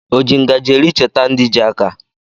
Oji ngaji eri cheta ndị ji aka.